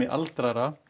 aldraðra